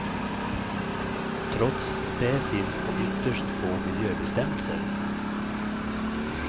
Trots det finns det ytterst få miljöbestämmelser.